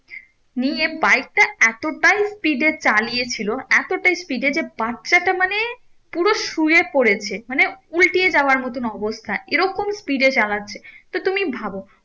নিয়ে bike টা এতটাই speed এ চালিয়েছিল এতটাই speed এ যে বাচ্ছাটা মানে পুরো শুয়ে পড়েছে মানে উল্টিয়ে যাওয়ার মতন অবস্থা এরকম speed এ চালাচ্ছে তো তুমি ভাবো